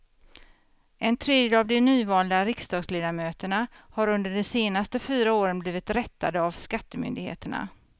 En tredjedel av de nyvalda riksdagsledamöterna har under de senaste fyra åren blivit rättade av skattemyndigheterna.